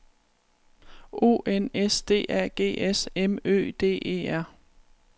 O N S D A G S M Ø D E R